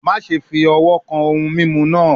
Maṣe fi ọwọ kan ohun mimu naa